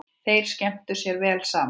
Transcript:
Þeir skemmtu sér vel saman.